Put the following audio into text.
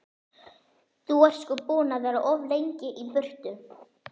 Þú ert sko búinn að vera of lengi í burtu.